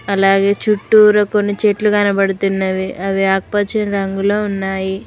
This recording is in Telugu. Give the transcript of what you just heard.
అలాగే చుట్టూరా కొన్ని చెట్లు కనపడుతున్నవి అవి ఆకుపచ్చని రంగులో ఉన్నాయి.